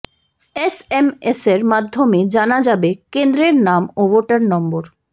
এসএমএসের মাধ্যমে জানা যাবে কেন্দ্রের নাম ও ভোটার নম্বর